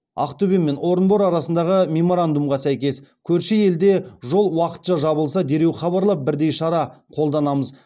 ақтөбе мен орынбор арасындағы меморандумға сәйкес көрші елде жол уақытша жабылса дереу хабарлап бірдей шара қолданамыз